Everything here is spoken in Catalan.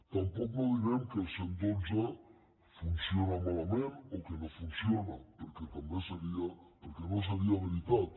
tampoc no direm que el cent i dotze funciona malament o que no funciona perquè no seria veritat